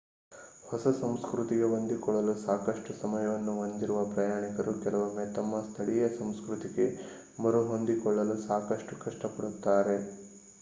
ಹೊಸ ಸಂಸ್ಕೃತಿಗೆ ಹೊಂದಿಕೊಳ್ಳಲು ಸಾಕಷ್ಟು ಸಮಯವನ್ನು ಹೊಂದಿರುವ ಪ್ರಯಾಣಿಕರು ಕೆಲವೊಮ್ಮೆ ತಮ್ಮ ಸ್ಥಳೀಯ ಸಂಸ್ಕೃತಿಗೆ ಮರುಹೊಂದಿಕೊಳ್ಳಲು ಸಾಕಷ್ಟು ಕಷ್ಟಪಡುತ್ತಾರೆ